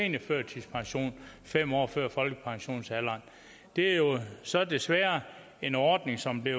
seniorførtidspension fem år før folkepensionsalderen det er jo så desværre en ordning som er